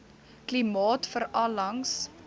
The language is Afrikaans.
klimaat veral langs